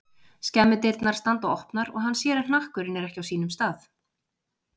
Skemmudyrnar standa opnar og hann sér að hnakkurinn er ekki á sínum stað.